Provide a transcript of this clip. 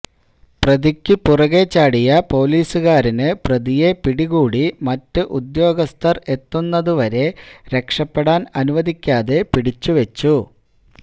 പ്രതിയ്ക്കു പുറകെ ചാടിയ പോലീസുകാരന് പ്രതിയെ പിടികൂടി മറ്റ് ഉദ്യോഗസ്ഥര് എത്തുന്നതുവരെ രക്ഷപ്പെടാന് അനുവദിക്കാതെ പിടിച്ചുവെച്ചു